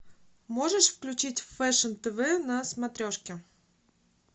можешь включить фэшн тв на смотрешке